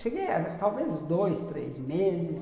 Cheguei a talvez dois, três meses.